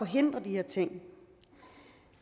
de her ting